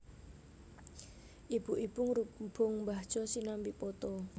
Ibu ibu ngrubung mbah Jo sinambi poto